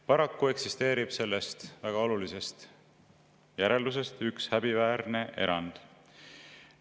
Paraku eksisteerib sellest väga olulisest järeldusest üks häbiväärne erand.